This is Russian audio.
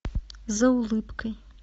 за улыбкой